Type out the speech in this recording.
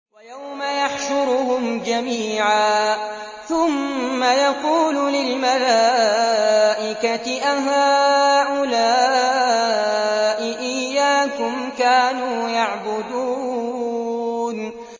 وَيَوْمَ يَحْشُرُهُمْ جَمِيعًا ثُمَّ يَقُولُ لِلْمَلَائِكَةِ أَهَٰؤُلَاءِ إِيَّاكُمْ كَانُوا يَعْبُدُونَ